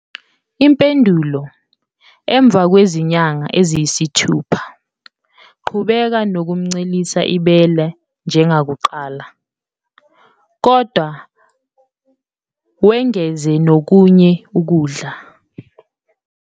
Impendulo- Emva kwezinyanga eziyisithupha, qhubeka nokumncelisa ibele njengakuqala, kodwa wengeze nokunye ukudla.